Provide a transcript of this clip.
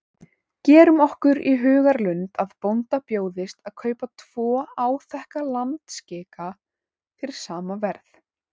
Gerum okkur í hugarlund að bónda bjóðist að kaupa tvo áþekka landskika fyrir sama verð.